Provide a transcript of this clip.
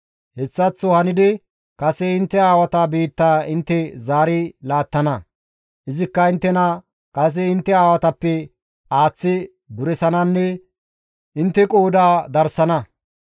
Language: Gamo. Hessaththo hanidi kase intte aawata biittaa intte zaari laattana; izikka inttena kase intte aawatappe aaththi duresananne intte qooda darsana.